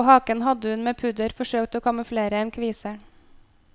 På haken hadde hun med pudder forsøkt å kamuflere en kvise.